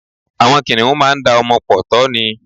Àwọn kìnìhún máá da ọmọ pọ̀ tọ́ ni.